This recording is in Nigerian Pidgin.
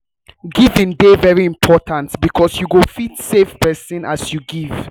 giving de very important because you fit save persin as you give